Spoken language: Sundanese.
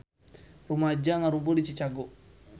Rumaja ngarumpul di Chicago